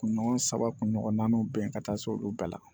Kunɲɔgɔn saba kun ɲɔgɔnnaw bɛn ka taa se olu bɛɛ ma